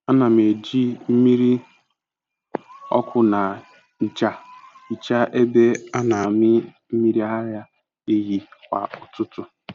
Ana m eji mmiri ọkụ na ncha hichaa ebe a na-amị mmiri ara ehi kwa ụtụtụ.